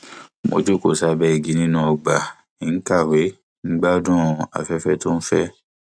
mo jókòó sábẹ igi nínú ọgbà ń kàwé gbádùn afẹfẹ tó ń fẹ